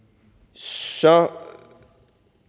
så